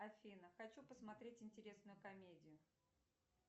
афина хочу посмотреть интересную комедию